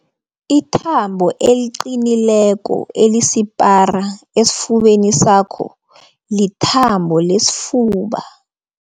Ithambo eliqinileko elisipara esifubeni sakho lithambo lesifuba.